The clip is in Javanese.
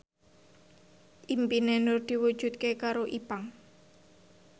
impine Nur diwujudke karo Ipank